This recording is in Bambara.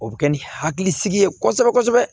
O bɛ kɛ ni hakilisigi ye kosɛbɛ kosɛbɛ